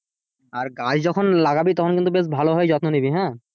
আর গাছ যখন লাগাবি তখন কিন্তু বেশ ভালো ভাবে যত্ন নিবি হ্যাঁ,